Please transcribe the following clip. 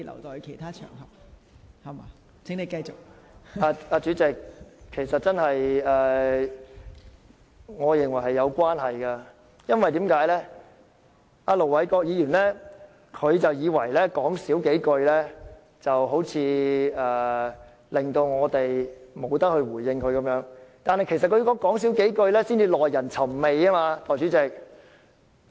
代理主席，我認為是有關係的，因為盧偉國議員似乎以為少說幾句便可令我們無法回應他，但他所說的"少說幾句"其實才是耐人尋味。